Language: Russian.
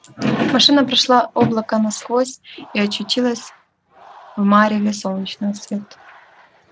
машина прошила облака насквозь и очутилась в мареве солнечного света